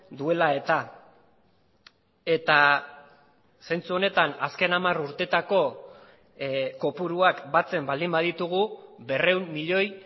duela eta eta zentzu honetan azken hamar urteetako kopuruak batzen baldin baditugu berrehun milioi